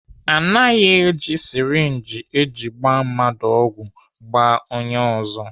Anaghị eji syrinji eji gbaa mmadụ ọgwụ gbaa onye ọzọ.